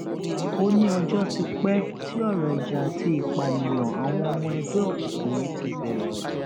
ó ní ọjọ ti pẹ tí ọrọ ìjà àti ìpànìyàn àwọn ọmọ ẹgbẹ òkùnkùn yìí ti bẹrẹ